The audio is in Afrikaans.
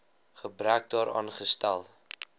gebrek daaraan stel